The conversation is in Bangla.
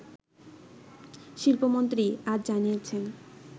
শিল্পমন্ত্রী আজ জানিয়েছেন